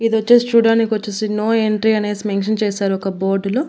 ఇదొచ్చేసి చూడ్డానికొచ్చేసి no entry అనేసి mention చేశారు ఒక బోర్డులో .